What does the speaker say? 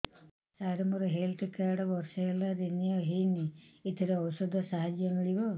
ସାର ମୋର health card ବର୍ଷେ ହେଲା ରିନିଓ ହେଇନି ଏଥିରେ ଔଷଧ ସାହାଯ୍ୟ ମିଳିବ